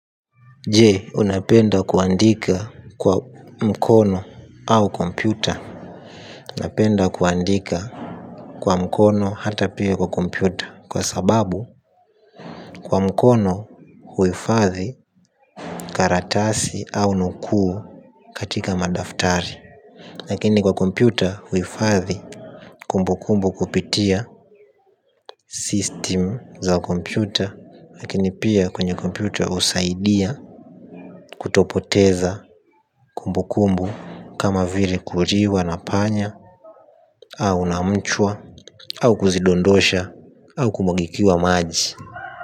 Je, unapenda kuandika kwa mkono au kompyuta? Napenda kuandika kwa mkono hata pia kwa kompyuta kwa sababu, kwa mkono huifadhi karatasi au nukuu katika madaftari. Lakini kwa kompyuta huifathi kumbukumbu kupitia 'System' za kompyuta, lakini pia kwenye kompyuta husaidia kutopoteza kumbu kumbu kama vile kuliwa na panya, au na mchwa au kuzidondosha au kumwagikiwa maji.